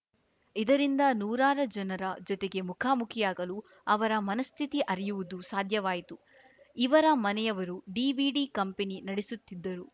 ಇದರಿಂದ ನೂರಾರ ಜನರ ಜೊತೆಗೆ ಮುಖಾಮುಖಿಯಾಗಲು ಅವರ ಮನಸ್ಥಿತಿ ಅರಿಯುವುದು ಸಾಧ್ಯವಾಯಿತು ಇವರ ಮನೆಯವರು ಡಿವಿಡಿ ಕಂಪೆನಿ ನಡೆಸುತ್ತಿದ್ದರು